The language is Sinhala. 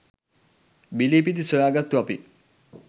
බිලිපිති සොයා ගත්තු අපි